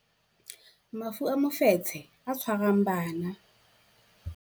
Mafu a mofetshe o tshwarang bana